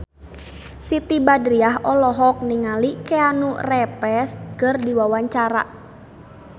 Siti Badriah olohok ningali Keanu Reeves keur diwawancara